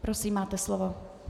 Prosím, máte slovo.